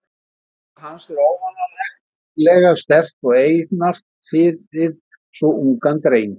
Augnaráð hans er óvanalega sterkt og einart fyrir svo ungan dreng.